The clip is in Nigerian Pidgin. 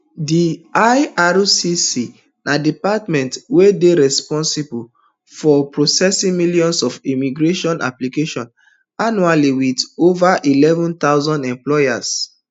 di ircc na department wey dey responsible for processing millions of immigration applications annually wit ova eleven thousand employees